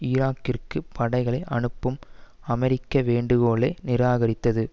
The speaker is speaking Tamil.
ஈராக்கிற்கு படைகளை அனுப்பும் அமெரிக்க வேண்டுகோளை நிராகரித்தது